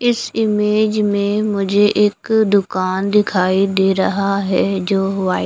इस इमेज में मुझे एक दुकान दिखाई दे रहा है जो व्हाइ--